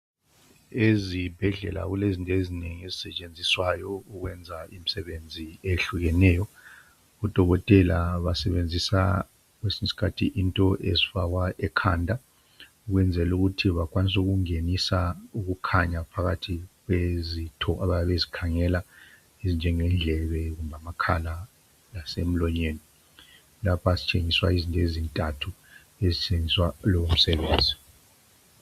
Ezibhedlela kulezinto ezinengi ezisetshenziswayo ukwenza imsebenzi eyehlukeneyo. Odokotela basebenzisa kwesinyiskhathi into ezifakwa ekhanda ukwenzelukuthi bakwanisukungenisa ukukhanya phakathi kwezitho abayabe bezikhangela ezinjenge ndlebe kumbe amakhala lasemlonyeni. Lapha sitshengiswa ezintathu ezitshengiswa lomsebenzi.